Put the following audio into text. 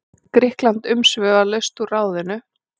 Grikkland umsvifalaust úr ráðinu.